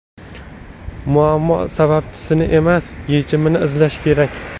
Muammo sababchisini emas, yechimini izlash kerak.